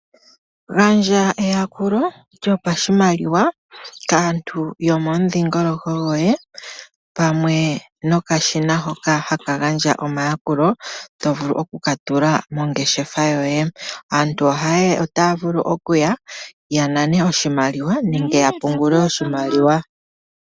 Gandja eyakulo lyopashimaliwa kaantu yomomudhingoloko goye pamwe nokashina hoka haka gandja omayakulo tovulu okulatula mongeshefa yoye. Aantu ayehe otaya vulu okuya yanane oshimaliwa nenge yapungule oshimaliwa.